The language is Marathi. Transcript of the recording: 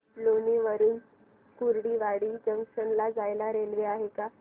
लोणी वरून कुर्डुवाडी जंक्शन ला जायला रेल्वे आहे का